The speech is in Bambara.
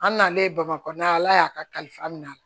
An nalen bamakɔ yan ala y'a kalifa min na